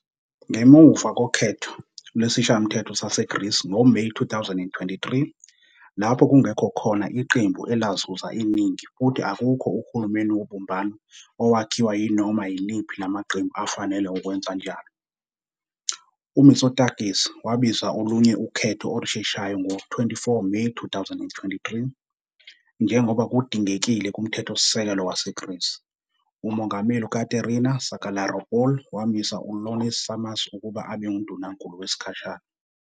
Ngemuva Ukhetho lwesishayamthetho saseGreece ngoMeyi 2023 lapho kungekho khona iqembu elazuza iningi futhi akukho uhulumeni wobumbano owakhiwa yinoma yiliphi lamaqembu afanele ukwenza kanjalo, uMitsotakis wabiza okunye ukhetho olusheshayo NgoJune Ngo-24 Meyi 2023, njengoba kudingekile kumthethosisekelo waseGreece, Umongameli UKaterina Sakellaropoulou wamisa U-Ioannis Sarmas ukuba abe undunankulu wesikhashana.